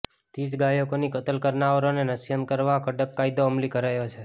તેી જ ગાયોની કત્લ કરનારાઓને નશ્યત કરવા કડક કાયદો અમલી કરાયો છે